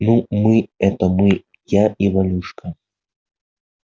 ну мы это мы я и валюшка